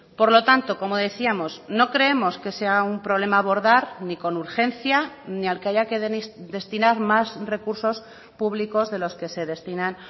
por lo tanto como decíamos no creemos que sea un problema a abordar ni con urgencia ni al que haya que destinar más recursos públicos de los que se destinan